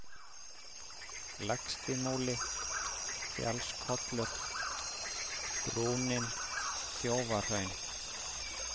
Lægstimúli, Fjallskollur, Brúnin, Þjófahraun